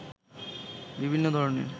বিভিন্ন ধরনের